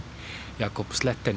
Jakob